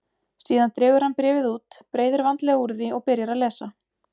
Síðan dregur hann bréfið út, breiðir vandlega úr því og byrjar að lesa.